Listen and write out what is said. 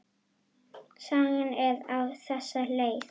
Sagan er á þessa leið: